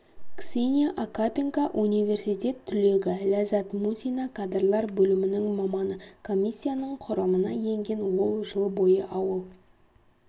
ксения окапенко университет түлегі ләззат мусина кадрлар бөлімінің маманы комиссияның құрамына енген ол жыл бойы ауыл